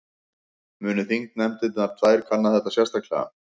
Muni þingnefndirnar tvær kanna þetta sérstaklega